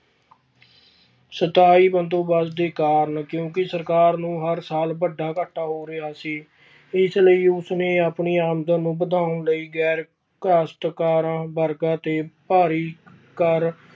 ਸਥਾਈ ਬੰਦੋਬਸਤ ਦੇ ਕਾਰਨ ਕਿਉਂਕਿ ਸਰਕਾਰ ਨੂੰ ਹਰ ਸਾਲ ਵੱਡਾ ਘਾਟਾ ਹੋ ਰਿਹਾ ਸੀ ਇਸ ਲਈ ਉਸਨੇ ਆਪਣੀ ਆਮਦਨ ਨੂੰ ਵਧਾਉਣ ਲਈ ਗ਼ੈਰ ਕਾਸਤਕਾਰਾਂ ਵਰਗਾਂ ਤੇ ਭਾਰੀ ਕਰ